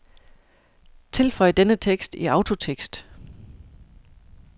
Tilføj denne tekst i autotekst.